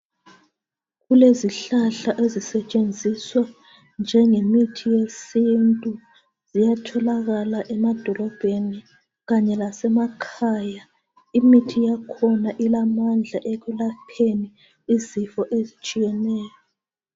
Kulezihlahla ezisetshenziswa njengemithi yesintu, ziyatholakala emadolobheni kanye lasemakhaya, imithi yakhona ilamandla ekulapheni izifo ezitshiyeneyo.